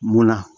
Mola